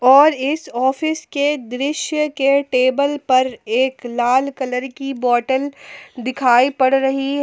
और इस ऑफिस के दृश्य के टेबल पर एक लाल कलर की बॉटल दिखाई पड़ रही है।